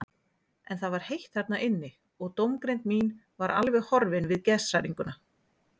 En það var heitt þarna inni og dómgreind mín var alveg horfin við geðshræringuna.